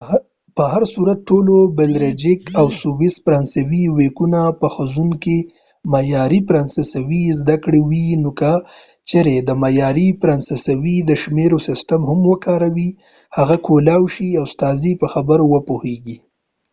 په هر صورت ټولو بلژیک او سویس فرانسوي ویونکو به په ښوونځي کې معیاري فرانسوي زده کړې وي نو که چیرې ته د معیاري فرانسوۍ د شمیرو سیستم هم وکاروې هغوی کولای شي ستاسې په خبرو وپوهیږي